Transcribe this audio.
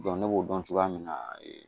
ne b'o dɔn cogoya min na